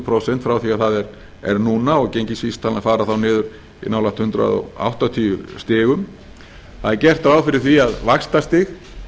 prósent frá því sem það er núna og gengisvísitalan fara þá niður í nálægt hundrað áttatíu stig það er gert ráð fyrir því að vaxtastig